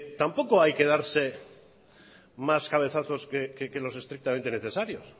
tampoco hay que darse más cabezazos que los estrictamente necesarios